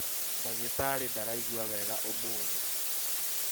Ndagĩtarĩ ndaraĩgua wega ũmũthĩ